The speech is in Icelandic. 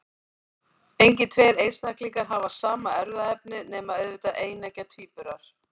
Engir tveir einstaklingar hafa sama erfðaefni, nema auðvitað eineggja tvíburar.